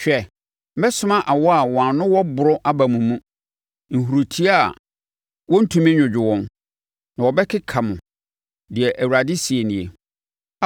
“Hwɛ, mɛsoma awɔ a wɔn ano wɔ borɔ aba mo mu, nhurutoa a wɔntumi nnwodwo wɔn, na wɔbɛkeka mo,” deɛ Awurade seɛ nie.